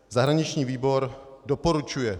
Zahraniční výbor doporučuje